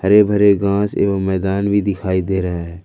हरे भरे घास एवं मैदान भी दिखाई दे रहा है।